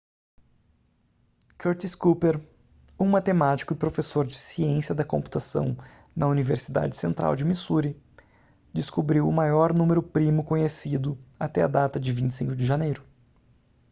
curtis cooper um matemático e professor de ciência da computação na universidade central de missouri descobriu o maior número primo conhecido até a data de 25 de janeiro